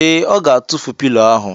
Ee, Ọ ga-atụfu pilo ahụ.